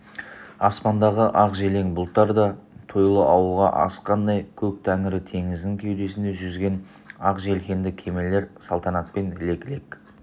аспандағы ақ желең бұлттар да тойлы ауылға асыққандай көк тәңірі теңізінің кеудесінде жүзген ақ желкенді кемелер салтанатпен лек-лек